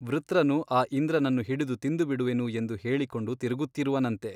ವೃತ್ರನು ಆ ಇಂದ್ರನನ್ನು ಹಿಡಿದು ತಿಂದುಬಿಡುವೆನು ಎಂದು ಹೇಳಿಕೊಂಡು ತಿರುಗುತ್ತಿರುವನಂತೆ !